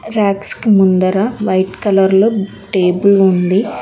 ర్యాక్స్కి ముందర white colour లో table ఉంది.